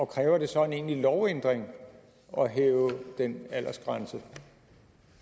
kræver det så en egentlig lovændring at hæve den aldersgrænse